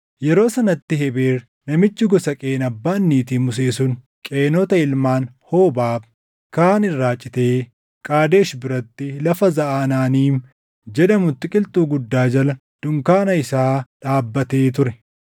Yeroo sanatti Hebeer namichi gosa Qeen abbaan niitii Musee sun Qeenota ilmaan Hoobaab kaan irraa citee Qaadesh biratti lafa Zaʼaanaaniim jedhamutti qilxuu guddaa jala dunkaana isaa dhaabbatee ture.